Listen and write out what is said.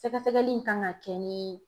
Sɛgɛsɛgɛli in kan ka kɛ ni